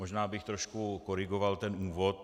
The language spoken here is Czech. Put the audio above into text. Možná bych trošku korigoval ten úvod.